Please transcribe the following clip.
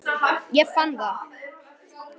Ég fann það!